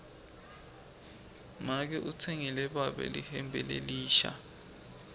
make utsengele babe lihembe lelisha